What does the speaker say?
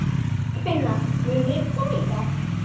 Ingifinna, mun rigna í dag?